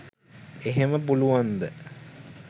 එහෙම පුළුවන්ද